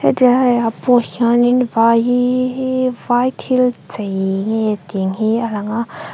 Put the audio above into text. hetilai ah pawh hianin vai hi hi hi vai thil chei nge ting hi a lang a.